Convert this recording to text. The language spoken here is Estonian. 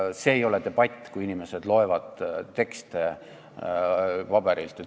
See ei ole debatt, kui inimesed loevad teksti paberilt.